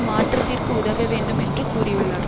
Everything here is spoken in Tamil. மாற்றத்திற்கு உதவ வேண்டும் என்று கூறியுள்ளார்